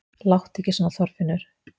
Láttu ekki svona Þorfinnur!